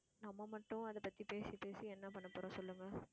நம்ம மட்டும் அதை பத்தி பேசி பேசி என்ன பண்ண போறோம் சொல்லுங்க